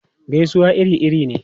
Gaisuwa iri-iri ne.